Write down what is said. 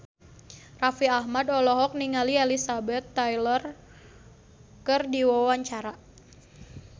Raffi Ahmad olohok ningali Elizabeth Taylor keur diwawancara